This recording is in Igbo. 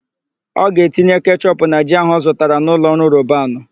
Ọ ga-etinye kechọpụ na ji áhụ̀ ọ zụtara na ụlọọrụ Robanu.